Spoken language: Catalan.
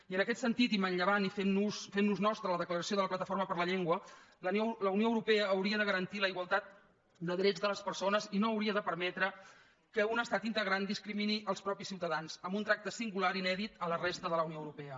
i en aquest sentit i manllevant i fent nos nostra la declaració de la plataforma per la llengua la unió europea hauria de garantir la igualtat de drets de les persones i no hauria de permetre que un estat integrant discrimini els propis ciutadans amb un tracte singular inèdit a la resta de la unió europea